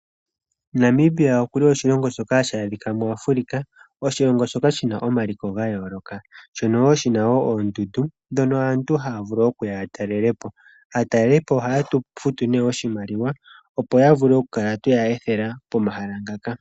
Namibia okuli oshilongo shoka ha shi adhika muAfrica, oshilongo shoka shi na omaliko ga yooloka. Shono wo shi na oondundu dhono aantu haya vulu okuya ya talele po. Aataleli po oha ye tu futu ne oshimaliwa opo ya vule oku mkala tweya ethela pomahala ngaka.